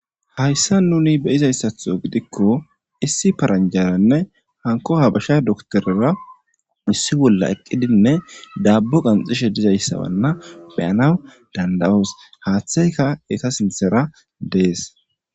hayssa nuni beyizayssatho gidikko issi paranjaranne hanko habasha doktorera issi bolla eqqidinne dabbo qanxishe dizayssawanna beyanaw danda7oos haaththeyka eta sinthera dees